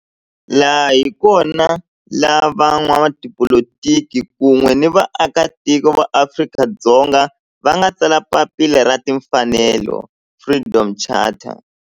Laha hi kona la van'watipolitiki kun'we ni vaaka tiko va Afrika-Dzonga va nga tsala papila ra timfanelo, Freedom Charter.